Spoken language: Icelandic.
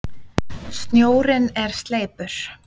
Snjórinn er sleipur!